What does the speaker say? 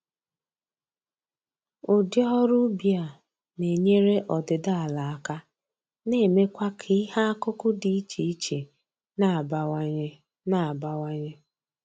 Ụdị ọrụ ubi a na-enyere ọdịdị ala aka na-emekwa k'ihe akụkụ dị iche iche na-abawanye na-abawanye